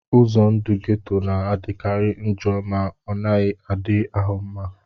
Ụzọ ndụ geto na-adịkarị njọ ma ọ naghị adị ahụ mma